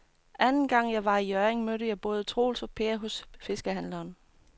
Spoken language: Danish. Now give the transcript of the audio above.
Anden gang jeg var i Hjørring, mødte jeg både Troels og Per hos fiskehandlerne.